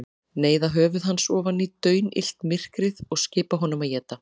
Neyða höfuð hans ofan í daunillt myrkrið og skipa honum að éta.